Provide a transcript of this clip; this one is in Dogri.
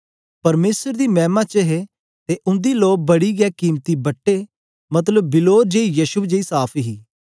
परमेसर दी मैमा दे च हे ते उंदी लो बड़ा के कीमती बट्टे मतलब बिलोर जेया यशब जेई साफ़ हे